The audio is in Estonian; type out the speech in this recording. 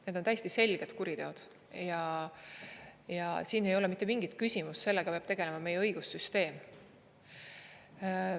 Need on täiesti selgelt kuriteod ja siin ei ole mitte mingit küsimust, sellega peab tegelema meie õigussüsteem.